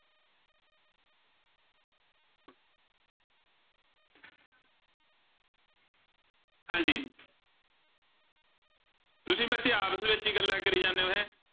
ਹਾਂਜੀ ਤੁਸੀਂ ਬੱਚੇ ਆਪਸ ਵਿੱਚ ਹੀ ਗੱਲਾਂ ਕਰੀ ਜਾਂਦੇ ਹੋ ਹੈਂ।